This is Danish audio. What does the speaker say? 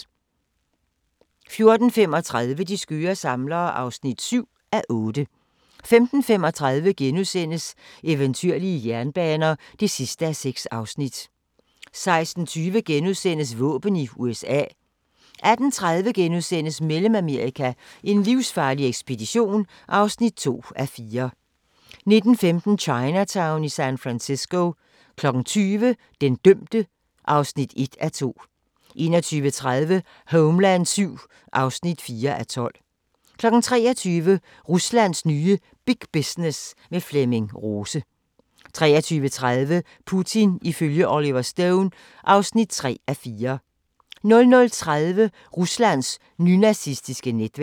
14:35: De skøre samlere (7:8) 15:35: Eventyrlige jernbaner (6:6)* 16:20: Våben i USA * 18:30: Mellemamerika: en livsfarlig ekspedition (2:4)* 19:15: Chinatown i San Francisco 20:00: Den dømte (1:2) 21:30: Homeland VII (4:12) 23:00: Ruslands nye Big Business - med Flemming Rose 23:30: Putin ifølge Oliver Stone (3:4) 00:30: Ruslands nynazistiske netværk